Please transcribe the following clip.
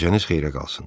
Gecəniz xeyrə qalsın.